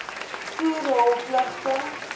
voer hul pligte